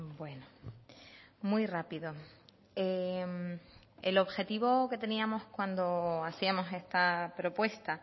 bueno muy rápido el objetivo que teníamos cuando hacíamos esta propuesta